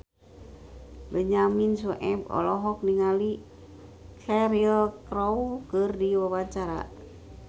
Benyamin Sueb olohok ningali Cheryl Crow keur diwawancara